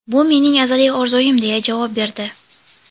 Bu mening azaliy orzuyim”, deya javob berdi.